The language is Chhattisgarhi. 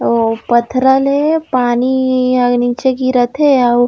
आऊ पथरा ले पानी नीचे गिरत हे आऊ--